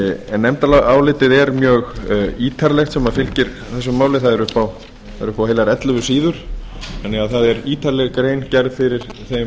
en nefndarálitið er mjög ítarlegt sem fylgir þessu máli það er upp á heilar ellefu síður þannig að það er ítarleg grein gerð fyrir þeim